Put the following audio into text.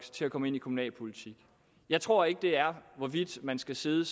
går ind i kommunalpolitik jeg tror ikke det er hvorvidt man skal sidde